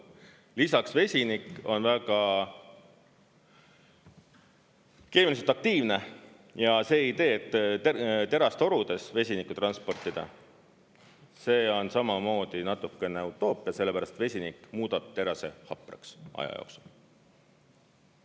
Lisaks vesinik on keemiliselt väga aktiivne ja see idee, et terastorudes vesinikku transportida, on samamoodi natukene utoopia, sellepärast et vesinik muudab terase hapraks aja jooksul.